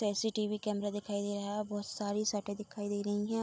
CCTV camera दिखाई दे रहा है बहुत सारी शर्टे दिखाई दे रही हैं।